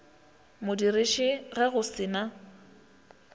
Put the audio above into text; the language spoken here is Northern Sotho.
modiriši ge go se na